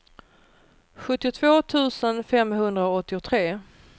sjuttiotvå tusen femhundraåttiotre